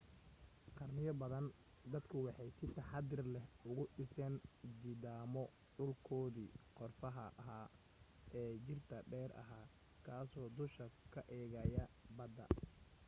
qarniyo badan dadku waxay si taxaddar lehuga dhiseen jidhaamo dhulkoodii qorfaha ahaa ee jiirta dheer ahaa kaasoo dusha ka eegaya badda